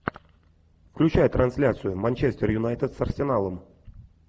включай трансляцию манчестер юнайтед с арсеналом